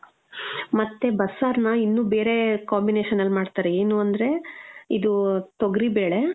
ಮತ್ತೆ, ಬಸ್ಸಾರ್ನ ಇನ್ನು ಬೇರೆ combination ಅಲ್ ಮಾಡ್ತಾರೆ. ಏನು ಅಂದ್ರೆ ಇದೂ ತೊಗ್ರಿಬೇಳೆ,